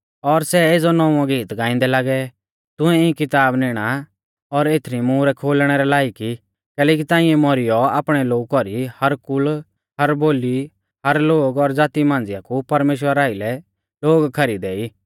और सै एज़ौ नौंवौ गेत गांइदै लागै तू इऐं किताब निणा और एथरी मुहरै खोलणै रै लायक ई कैलैकि ताइंऐ मौरीयौ आपणै लोऊ कौरी हर कुल और बोली और लोग और ज़ाती मांझ़िया कु परमेश्‍वरा आइलै लोग खरीदै ई